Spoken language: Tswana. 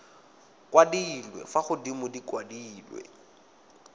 kwadilwe fa godimo di kwadilwe